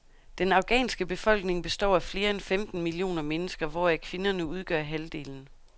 Den afghanske befolkning består af flere end femten millioner mennesker, hvoraf kvinderne udgør halvdelen.